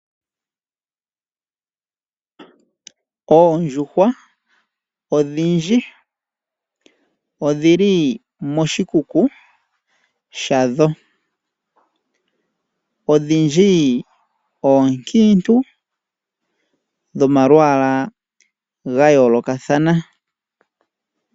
Oondjuhwa odhindji odhili moshikuku shadho. Odhindji oonkiintu dhomalwaala ga yoolokathana.